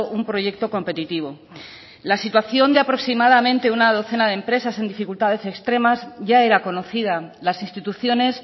un proyecto competitivo la situación de aproximadamente una docena de empresas en dificultades extremas ya era conocida las instituciones